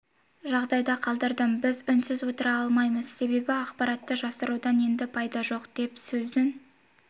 жағдайда қалдырдым бірақ біз үнсіз отыра алмаймыз себебі ақпаратты жасырудан енді пайда жоқ деп сөзін